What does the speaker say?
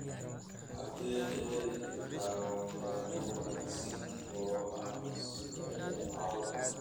xagee ka heli karaa waxyaabo wanaagsan oo aan sameeyo caawa